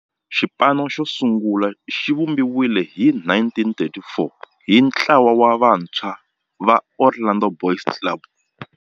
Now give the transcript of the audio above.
Xipano xosungula xivumbiwile hi 1934 hi ntlawa wa vantshwa va Orlando Boys Club.